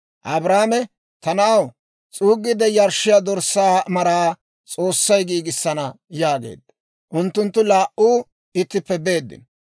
Abrahaame, «Ta na'aw, s'uuggiide yarshshiyaa dorssaa maraa S'oossay giigisana» yaageedda. Unttunttu laa"u ittippe beeddino.